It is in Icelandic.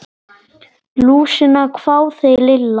Lúsina? hváði Lilla.